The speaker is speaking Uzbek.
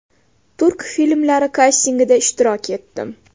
Turk filmlari kastingida ishtirok etdim.